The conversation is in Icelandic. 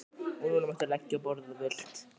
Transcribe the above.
Og núna máttu leggja á borð ef þú vilt.